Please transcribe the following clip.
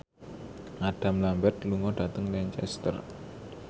Adam Lambert lunga dhateng Lancaster